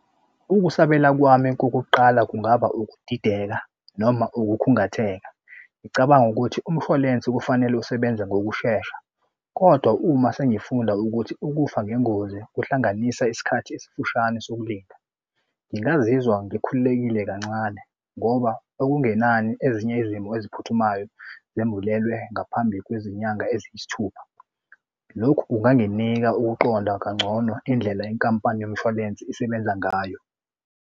Ukusabela kwami kokuqala kungaba ukudideka noma ukukhungatheka. Ngicabanga ukuthi umshwalense kufanele usebenza ngokushesha, kodwa uma sengifunda ukuthi ukufa ngengozi kuhlanganisa isikhathi esifushane sokulinda ngingazizwa ngikhululekile kancane ngoba okungenani ezinye izimo eziphuthumayo zembulelwe ngaphambi kwezinyanga eziyisithupha. Lokhu kunganginika ukuqonda kangcono indlela yenkampani yomshwalense isebenza ngayo.